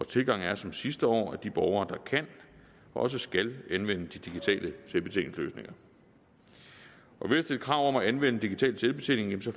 tilgang er som sidste år at de borgere der kan også skal anvende de digitale selvbetjeningsløsninger ved at stille krav om at anvende digital selvbetjening får